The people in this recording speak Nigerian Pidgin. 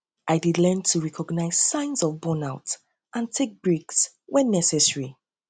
i dey learn to recognize signs of burnout and take breaks when necessary breaks when necessary